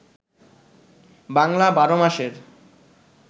বাংলা ১২ মাসের